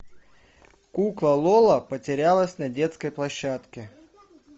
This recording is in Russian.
кукла лола потерялась на детской площадке